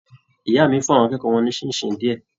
Ìyá mí fún àwọn akẹ́kọ̀ọ́ wọn ni ṣinṣin diẹ.